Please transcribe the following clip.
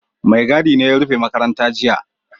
Maigadi ne ya rufe makaranta jiya